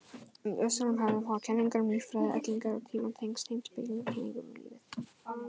Í austrænum hefðum hafa kenningar um líffræði ellinnar og tímann tengst heimspekilegum kenningum um lífið.